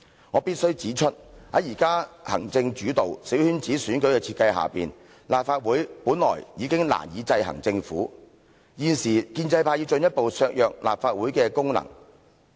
我必須指出，現在行政主導、小圈子選舉的設計之下，立法會本來已經難以制衡政府，現時建制派要進一步削弱立法會的功能。